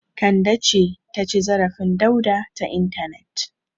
Kande ce ta ci zarafin Dauda ta intanet.